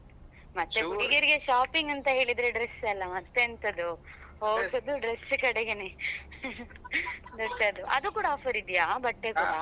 ಮತ್ತೆ ಹುಡುಗಿಯರಿಗೆ shopping ಅಂತ ಹೇಳಿದ್ರೆ dress ಅಲ್ಲ ಮತ್ತೆಂತದು ಹೋಗುದು dress ಕಡೆಗೆನೇ ಮತ್ತೆ ಅದು ಅದು ಕೂಡ offer ಇದ್ಯಾ ಬಟ್ಟೆ ಕೂಡ.